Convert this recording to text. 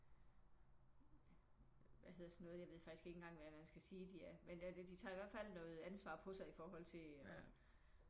Hvad hedder sådan noget? Jeg ved faktisk ikke engang hvad jeg skal sige de er men de tager i hvert fald noget ansvar på sig i forhold til og